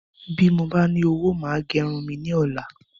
Bí mo ba ní owó, màá gẹ irun mi ní ola